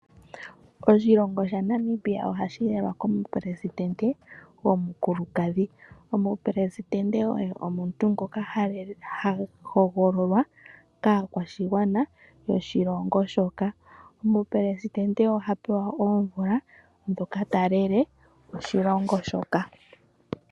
Oshilongo shaNamibia otashi lelwa komuperesidente gomukulukadhi. Omuperesidente oye omuntu ngoka ha hogololwa kaakwashigwana yoshilongo shoka. Omuperesidente oha pewa oomvula ndhoka ta lele oshilongo shoka.